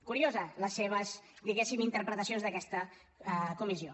curioses les seves diguéssim interpretacions d’aquesta comissió